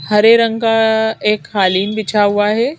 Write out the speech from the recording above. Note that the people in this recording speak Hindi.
हरे रंग का एक कालीन बिछा हुआ है।